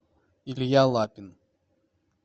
илья лапин